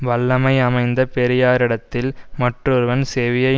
வல்லமை அமைந்த பெரியாரிடத்தில் மற்றொருவன் செவியை